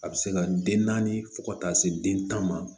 A bɛ se ka den naani fo ka taa se den tan ma